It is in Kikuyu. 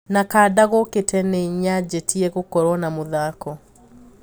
Na kanda gũkite ninyajitie gũkorũo na mũthako